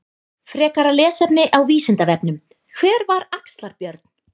Frekara lesefni á Vísindavefnum: Hver var Axlar-Björn?